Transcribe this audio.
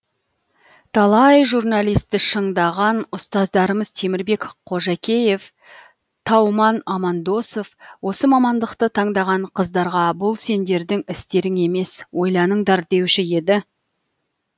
талай журналистті шыңдаған ұстаздарымыз темірбек қожакеев тауман амандосов осы мамандықты таңдаған қыздарға бұл сендердің істерің емес ойланыңдар деуші еді